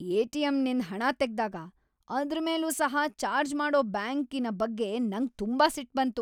ಎಟಿಎಂನಿಂದ್ ಹಣ ತೆಗ್ದಾಗ ಅದ್ರ ಮೇಲೂ ಸಹ ಚಾರ್ಜ್ ಮಾಡೋ ಬ್ಯಾಂಕಿನ್ ಬಗ್ಗೆ ನಂಗ್ ತುಂಬಾ ಸಿಟ್ಟು ಬಂತು.